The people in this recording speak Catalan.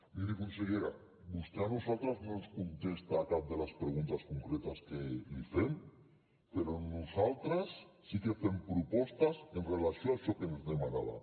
miri consellera vostè a nosaltres no ens contesta a cap de les preguntes concretes que li fem però nosaltres sí que fem propostes en relació amb això que ens demanava